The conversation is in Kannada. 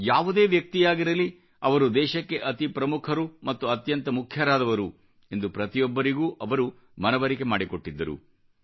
ಯಾವುದೇ ವ್ಯಕ್ತಿಯಾಗಿರಲಿ ಅವರು ದೇಶಕ್ಕೆ ಅತೀ ಪ್ರಮುಖರು ಮತ್ತು ಅತ್ಯಂತ ಮುಖ್ಯರಾದವರು ಎಂದು ಪ್ರತಿಯೊಬ್ಬರಿಗೂ ಅವರು ಮನವರಿಕೆ ಮಾಡಿಕೊಟ್ಟಿದ್ದರು